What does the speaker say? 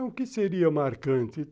O que seria marcante?